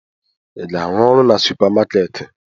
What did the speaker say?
Ị ga-arụ ọrụ na supamakeeti?